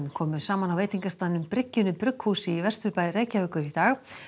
komu saman á veitingastaðnum bryggjunni brugghúsi í Vesturbæ Reykjavíkur í dag